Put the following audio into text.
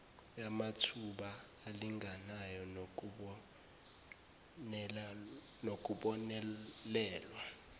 yamathuba alinganayo nokubonelelwa